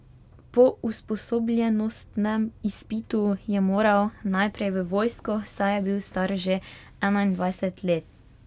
Po usposobljenostnem izpitu je moral najprej v vojsko, saj je bil star že enaindvajset let.